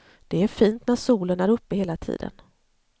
Det är fint när solen är uppe hela tiden.